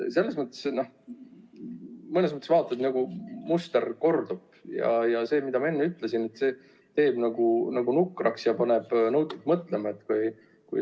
Selles mõttes muster kordub ja nagu ma enne ütlesin, see teeb nukraks ja paneb mõtlema.